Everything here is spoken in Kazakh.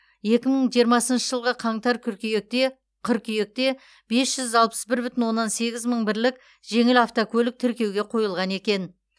екі мың жиырмасыншы жылғы қаңтар кыркүйекте қыркүйекте бес жүз алпыс бір бүтін оннан сегіз мың бірлік жеңіл автокөлік тіркеуге қойылған екен